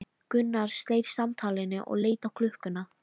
Gunnar sleit samtalinu og leit á klukkuna.